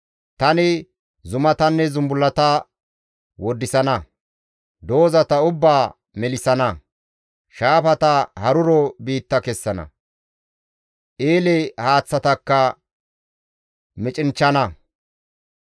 Tani zumatanne zumbullata woddisana; doozata ubbaa melissana. Shaafata haruro biitta kessana; eele haaththatakka micinchchana.